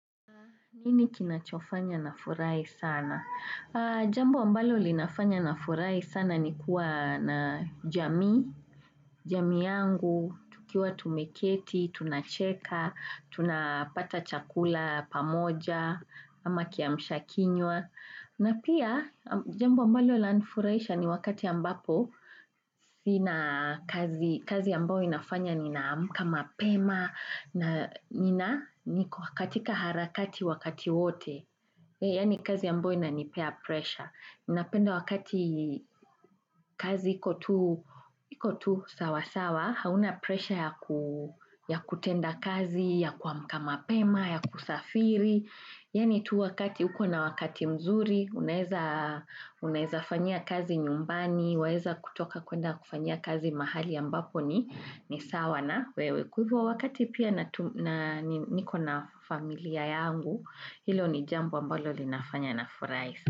Nini kinachofanya nafurai sana? Jambo ambalo linafanya nafurai sana ni kuwa na jamii, jamii yangu, tukiwa tumeketi, tunacheka, tunapata chakula pamoja, ama kiamshakinywa. Na pia, jambo ambalo lanfuraisha ni wakati ambapo, kazi ambao inafanya ninaamka mapema na nina katika harakati wakati wote. Yani kazi ambao inanipea pressure. Napenda wakati kazi iko tu sawasawa, hauna pressure ya kutenda kazi, ya kuamka mapema, ya kusafiri. Yani tu wakati, huko na wakati mzuri, unaeza fanyia kazi nyumbani, waeza kutoka kwenda kufanya kazi mahali ambapo ni ni sawa na wewe. Kwa hivo wakati pia na niko na familia yangu, hilo ni jambo ambalo linafanya nafurai sana.